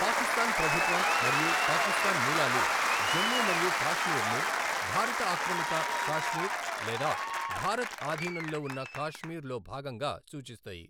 పాకిస్తాన్ ప్రభుత్వం మరియు పాకిస్తాన్ మూలాలు జమ్మూ మరియు కాశ్మీర్ను భారత ఆక్రమిత కాశ్మీర్ లేదా భారత్ ఆధీనంలో ఉన్న కాశ్మీర్ లో భాగంగా సూచిస్తాయి.